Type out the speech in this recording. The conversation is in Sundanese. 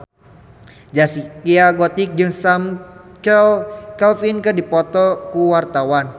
Zaskia Gotik jeung Sam Claflin keur dipoto ku wartawan